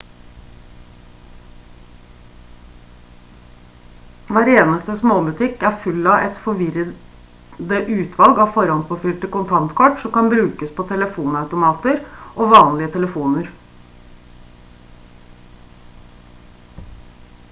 hver eneste småbutikk er full av et forvirrende utvalg av forhåndspåfylte kontantkort som kan brukes på telefonautomater og vanlige telefoner